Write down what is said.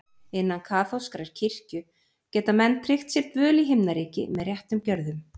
Innan kaþólskrar kirkju geta menn tryggt sér dvöl í Himnaríki með réttum gjörðum.